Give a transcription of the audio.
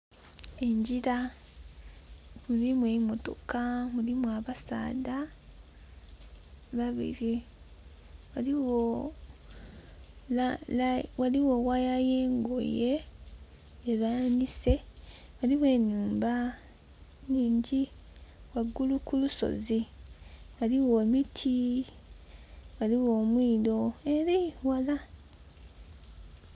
Engira mulimu emotoka mulimu abasaadha babiri waligho waya yengoye gye banise, waliwo enhumba nhingi wangulu ku lusozi ghaligho emiti ghaligho omwido ere ghala.